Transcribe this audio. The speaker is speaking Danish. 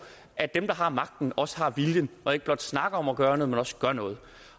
at dem der har magten også har viljen og ikke blot snakker om at gøre noget men også gør noget